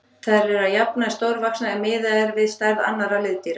Þær eru að jafnaði stórvaxnar ef miðað er við stærð annarra liðdýra.